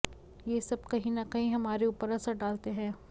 ये सब कहीं ना कहीं हमारे ऊपर असर डालते हैं